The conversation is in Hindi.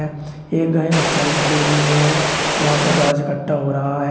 एक गाय और साइड खड़ी हुई है वहां पे घास इकट्ठा हो रहा है।